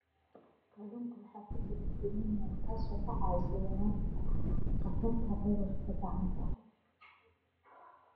Kalluunka waxaa ku jira selenium, taas oo ka caawisa yaraynta khatarta cudurada gacanta.